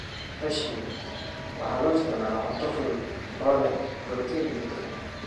Cashews: Waxa loo isticmaalaa cunto fudud oo leh borotiin iyo dufan.